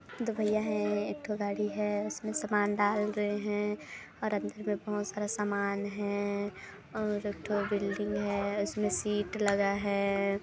दो भैया हैं एकठो गाड़ी है जिसमे सामान डाल रहे हैं और अंदर में बहोत सारा सामान है और एकठो बिल्डिंग है उसमे शीट लगा है।